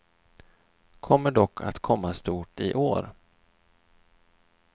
Kommer dock att komma stort i år.